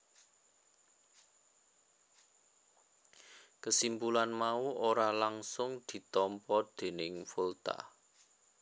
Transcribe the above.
Kesimpulan mau ora langgsung ditampa déning Volta